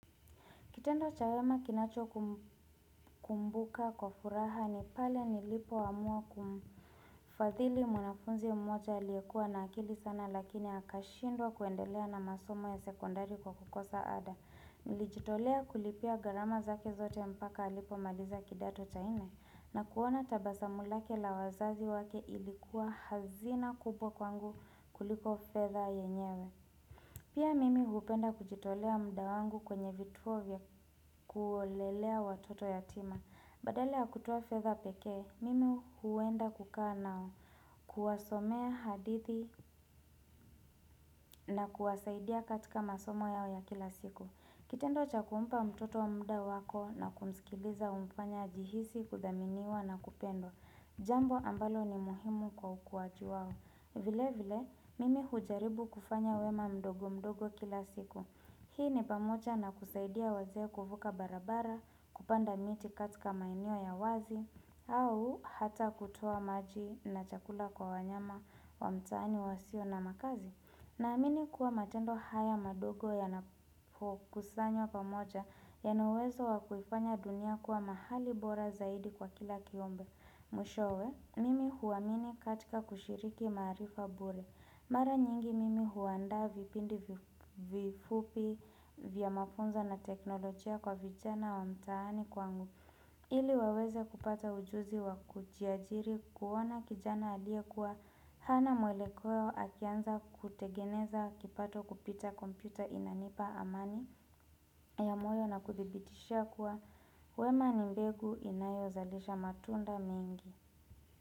Kitendo cha wema kinachokumbuka kwa furaha ni pale nilipoamua kumfadhili mwanafunzi mmoja aliyekuwa na akili sana lakini akashindwa kuendelea na masomo ya sekondari kwa kukosa ada. Nilijitolea kulipia gharama zake zote mpaka alipomaliza kidato cha nne na kuona tabasamu lake la wazazi wake ilikuwa hazina kubwa kwangu kuliko fedha yenyewe. Pia mimi hupenda kujitolea muda wangu kwenye vituo vya kuolelea watoto yatima. Badala ya kutoa feather pekee, mimi huenda kukaa nao, kuwasomea hadithi na kuwasaidia katika masomo yao ya kila siku. Kitendo cha kumpa mtoto muda wako na kumsikiliza humfanya ajihisi kuthaminiwa na kupendwa. Jambo ambalo ni muhimu kwa ukuaji wao. Vile vile, mimi hujaribu kufanya wema mdogo mdogo kila siku. Hii ni pamoja na kusaidia wazee kuvuka barabara, kupanda miti katika maeneo ya wazi, au hata kutoa maji na chakula kwa wanyama wa mtaani wasio na makazi. Naamini kuwa matendo haya madogo yanapokusanywa pamoja yana uwezo wa kuifanya dunia kuwa mahali bora zaidi kwa kila kiumbe. Mwishowe, mimi huamini katika kushiriki maarifa bure. Mara nyingi mimi huandaa vipindi vifupi vya mafunzo na teknolojia kwa vijana wa mtaani kwangu. Ili waweze kupata ujuzi wa kujiajiri kuona kijana aliyekuwa hana mwelekeo akianza kutengeneza kipato kupita kompyuta inanipa amani ya moyo na kudhibitishia kuwa wema ni mbegu inayozalisha matunda mingi.